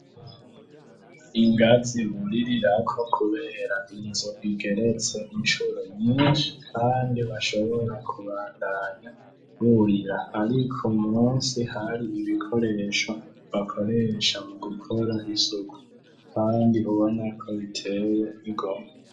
Ingazi buririrako kubera inzu igeretse inshuro nyinshi kandi bashobora kubandanya burira ariko munsi hari ibikoresho bakoresha mu gukora isuku kandi ubona ko biteye igomwe.